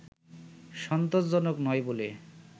সন্তোষজনক নয় বলে